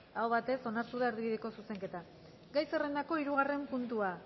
aho batez onartu da erdibideko zuzenketa gai zerrendako hirugarren puntua